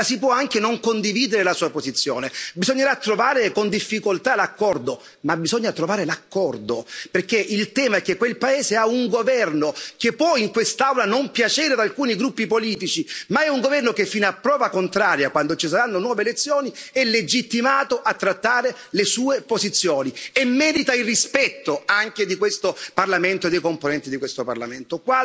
La si può anche non condividere la sua posizione, bisognerà trovare con difficoltà l'accordo, ma bisogna trovare l'accordo, perché il tema è che quel paese ha un governo, che può in quest'Aula non piacere ad alcuni gruppi politici, ma è un governo che, fino a prova contraria, quando ci saranno nuove elezioni, è legittimato a trattare le sue posizioni e merita il rispetto anche di questo Parlamento e dei componenti di questo Parlamento.